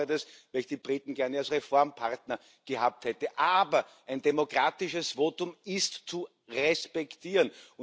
Ich bedaure das, da ich die Briten gern als Reformpartner gehabt hätte. Aber ein demokratisches Votum ist zu respektieren.